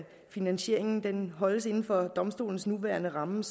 finansieringen holdes inden for domstolens nuværende ramme